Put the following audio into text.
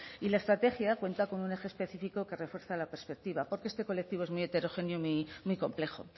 y la estrategia cuenta con un eje específico que refuerza la perspectiva porque este colectivo es muy heterogéneo y muy complejo